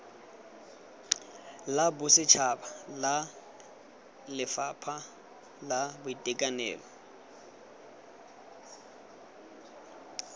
la bosetšhaba lefapha la boitekanelo